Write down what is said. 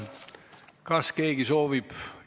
Kas keegi soovib midagi küsida?